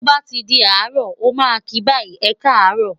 to ba ti di aro, o ma ki bayi, e ka arọ,